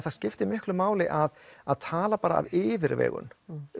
það skiptir miklu máli að að tala bara af yfirvegun